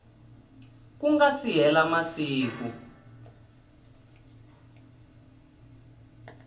ku nga si hela masiku